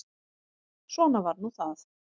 Svona var nú það.